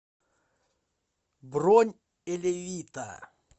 бронь элевита